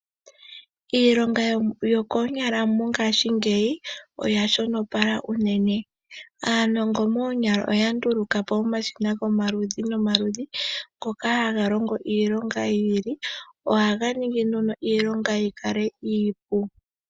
Iilongo yokoonyala mongaashingeyi oya shono pala unene Aanongo moonyala oya ndulukapo omashina gomaludhi nomaludhi ngika haga longo iilonga yi ili. Ohaga ningi nduno iilonga yikale iipu